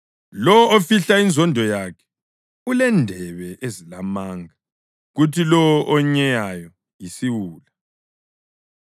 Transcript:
Lowo ofihla inzondo yakhe ulendebe ezilamanga, kuthi lowo onyeyayo yisiwula.